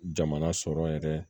Jamana sɔrɔ yɛrɛ